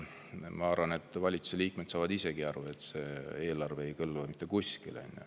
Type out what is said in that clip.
Ma arvan, et valitsuse liikmed saavad ise ka aru, et see eelarve ei kõlba mitte kuskile.